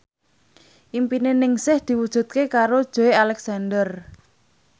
impine Ningsih diwujudke karo Joey Alexander